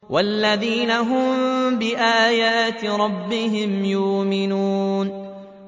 وَالَّذِينَ هُم بِآيَاتِ رَبِّهِمْ يُؤْمِنُونَ